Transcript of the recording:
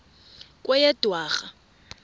kweyedwarha